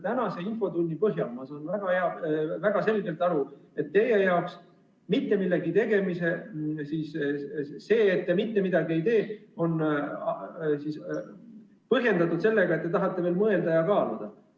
Tänase infotunni põhjal saan ma väga selgelt aru, et see, et te mitte midagi ei tee, on põhjendatud sellega, et te tahate veel mõelda ja kaaluda.